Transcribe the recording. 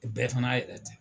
Bɛɛ fana y'a yɛrɛ ta.